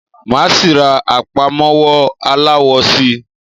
Máa síí rá àpámọ́wọ́ aláwọ síí